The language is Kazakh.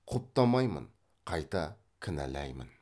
құптамаймын қайта кінәлаймын